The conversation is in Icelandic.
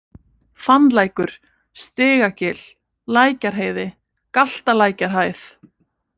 Fannlækur, Stigagil, Lækjarheiði, Galtalækjarhæð